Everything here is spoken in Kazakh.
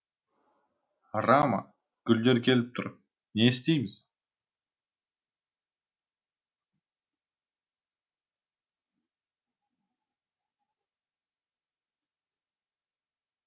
рама гүлдер келіп тұр не істейміз